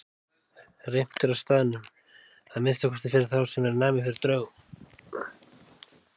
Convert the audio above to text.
Reimt er á staðnum, að minnsta kosti fyrir þá sem eru næmir fyrir draugum.